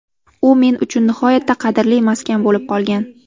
U men uchun nihoyatda qadrli maskan bo‘lib qolgan.